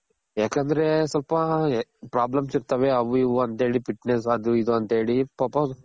ಯಾಕಂದ್ರೆ ಸ್ವಲ್ಪ problems ಇರ್ತವೆ ಅವು ಇವು ಅಂತ ಹೇಳಿ fitness ಅದು ಇದು ಅಂತ ಹೇಳಿ ಪಾಪ